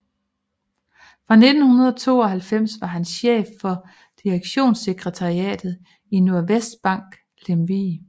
Fra 1992 var han chef for direktionssekretariatet i Nordvestbank i Lemvig